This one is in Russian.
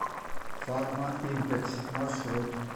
фармаимпекс маршрут